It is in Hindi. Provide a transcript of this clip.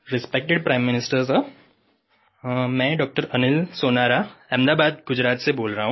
रिस्पेक्टेड प्राइम मिनिस्टर सिर मैं डॉक्टर अनिल सोनारा अहमदाबाद गुजरात से बोल रहा हूँ